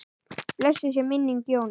Blessuð sé minning Jónu.